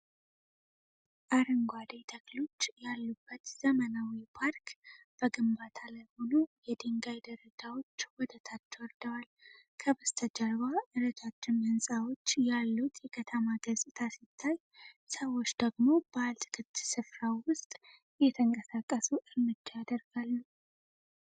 አረንጓዴ ተክሎች ያሉበት ዘመናዊ ፓርክ በግንባታ ላይ ሆኖ የድንጋይ ደረጃዎች ወደ ታች ወርደዋል። ከበስተጀርባ ረጃጅም ሕንፃዎች ያሉት የከተማ ገጽታ ሲታይ፤ ሰዎች ደግሞ በአትክልት ስፍራው ውስጥ እየተንቀሳቀሱ እርምጃ ያደርጋሉ።